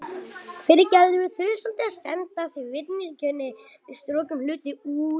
Hann vildi ekki særa Gulla.